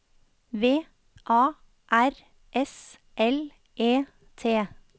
V A R S L E T